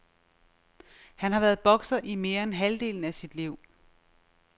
Han har været bokser i mere end halvdelen af sit liv.